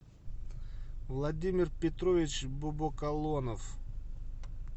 владимир петрович бобокалонов